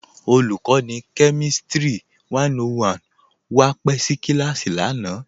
Olùkọ̀nì kẹmìstrì 101 wa pẹ̀ sí kílásì lánà.